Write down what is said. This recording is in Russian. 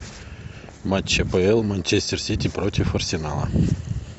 матч апл манчестер сити против арсенала